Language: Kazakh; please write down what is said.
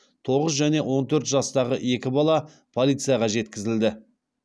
тоғыз және он төрт жастағы екі бала полицияға жеткізілді